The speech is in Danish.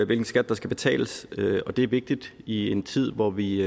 hvilken skat der skal betales og det er vigtigt i en tid hvor vi